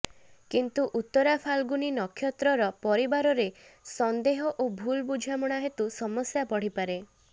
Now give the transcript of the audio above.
କିନ୍ତୁ ଉତ୍ତରାଫାଲ୍ଗୁନୀ ନକ୍ଷତ୍ରର ପରିବାରରେ ସନ୍ଦେହ ଓ ଭୁଲ୍ ବୁଝାମଣା ହେତୁ ସମସ୍ୟା ବଢିପାରେ